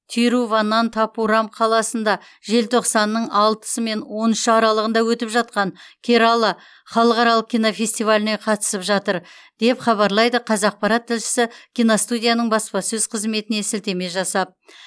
тируванантапурам қаласында желтоқсанның алтысы мен он үш аралығында өтіп жатқан керала халықаралық кинофестиваліне қатысып жатыр деп хабарлайды қазақпарат тілшісі киностудияның баспасөз қызметіне сілтеме жасап